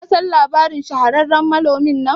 kasan labarin shahararren manonmin?